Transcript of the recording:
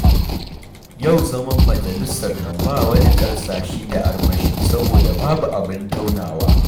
Yau zaman majalisar nan ba wani karsashi da armashi saboda babu abun taunawa.